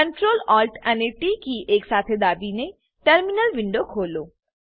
Ctrl Alt અને T key એક સાથે દાબીને ટર્મિનલ વિન્ડો ખોલો